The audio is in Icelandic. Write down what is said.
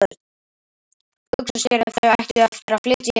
Hugsa sér ef þau ættu nú eftir að flytja til